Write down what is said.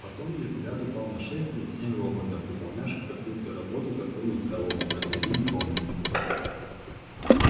потом её взгляд упал на шесть или семь роботов выполнявших какую-то работу за круглым столом посередине комнаты